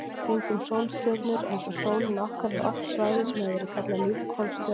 Kringum sólstjörnur eins og sólina okkar er oft svæði sem hefur verið kallað lífhvolf stjörnunnar.